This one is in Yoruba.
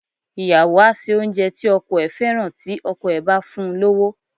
Ìyàwó á ṣe oúnjẹ tí ọkọ ẹ̀ fẹ́ràn tí ọkọ ẹ̀ bá fún un lówó.